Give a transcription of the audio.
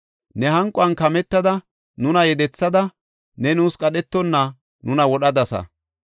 Ne hanquwan kametada nuna yedethada; ne nuus qadhetonna nuna wodhadasa.